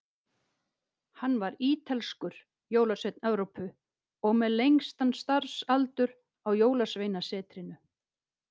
Hann var ítalskur, jólasveinn Evrópu, og með lengstan starfsaldur á Jólasveinasetrinu.